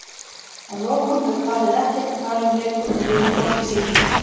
Að lokum hefur parið ekkert að tala um lengur og lifir hvort í sínum heimi.